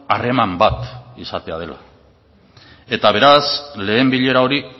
harreman bat izatea dela eta beraz lehen bilera hori